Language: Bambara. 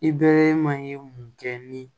I bɛ man ye mun kɛ ni